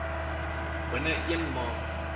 binne een maand